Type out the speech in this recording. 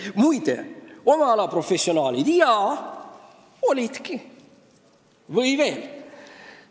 Jaa, olidki kohal oma ala professionaalid!